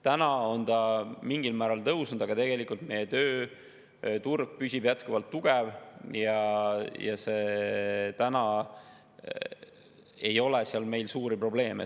Ta on mingil määral tõusnud, aga tegelikult meie tööturg püsib jätkuvalt tugev ja meil ei ole seal suuri probleeme.